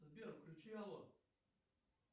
сбер включи алло